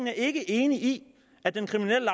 er ikke enig i at den kriminelle